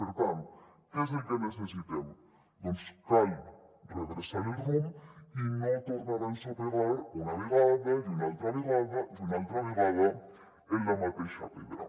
per tant què és el que necessitem doncs cal redreçar el rumb i no tornar a ensopegar una vegada i una altra vegada i una altra vegada en la mateixa pedra